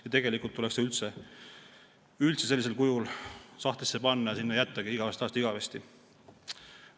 Ja tegelikult tuleks see üldse sellisel kujul sahtlisse panna ja sinna jättagi igavesest ajast igavesti.